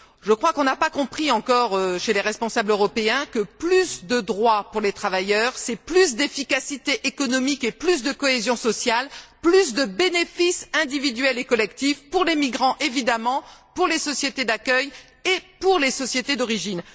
Je crois qu'on n'a pas compris encore, chez les responsables européens, que plus de droits pour les travailleurs, c'est plus d'efficacité économique et plus de cohésion sociale, plus de bénéfices individuels et collectifs pour les migrants évidemment, pour les sociétés d'accueil et pour les sociétés d'origine.